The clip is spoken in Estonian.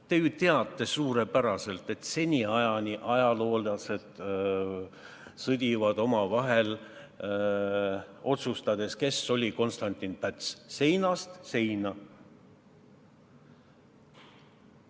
Te ju teate suurepäraselt, et seniajani ajaloolased sõdivad omavahel, kes oli Konstantin Päts, arvamusi on seinast seina.